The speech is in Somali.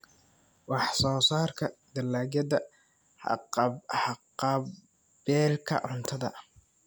Wax-soo-saarka dalagyada haqab-beelka cuntada.